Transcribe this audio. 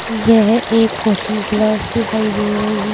यह एक coaching class दिखाई दे रही--